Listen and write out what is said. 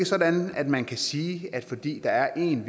sådan at man kan sige at fordi der er en